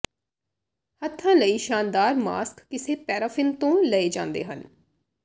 ਹੱਥਾਂ ਲਈ ਸ਼ਾਨਦਾਰ ਮਾਸਕ ਕਿਸੇ ਪੈਰਾਫ਼ਿਨ ਤੋਂ ਲਏ ਜਾਂਦੇ ਹਨ